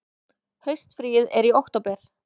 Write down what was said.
Haustfríið er í október.